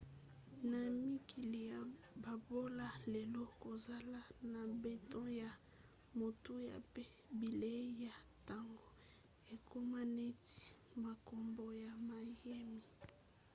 na mikili ya bobola lelo kozala na mbeto ya motuya mpe bilei ya ntongo ekoma neti makambo ya mayemi